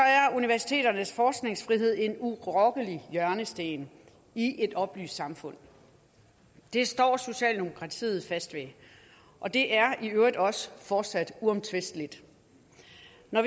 universiteternes forskningsfrihed en urokkelig hjørnesten i et oplyst samfund det står socialdemokratiet fast ved og det er i øvrigt også fortsat uomtvisteligt